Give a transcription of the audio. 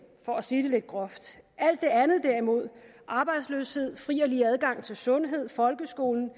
for at sige det lidt groft alt det andet derimod arbejdsløshed fri og lige adgang til sundhed folkeskolen